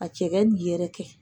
Ka cɛkɛ nin yɛrɛkɛ.